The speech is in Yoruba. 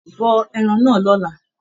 Bọ ẹran náà lọ́la.